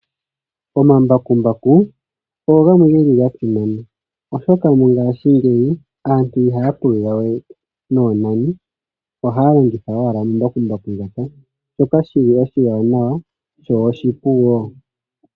Omambakumbaku ogo gamwe ge li ga simana, oshoka mongashingeyi aantu ihaya pulula we noonani , ohaya longitha wala omambakumbaku ngoka shoka shi li oshiwanawa sho oshipu wo.